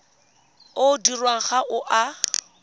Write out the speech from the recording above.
o dirwang ga o a